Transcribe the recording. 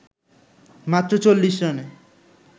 মাত্র ৪০ রানে